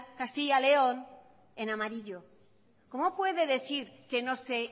castilla león en amarillo cómo puede decir que no se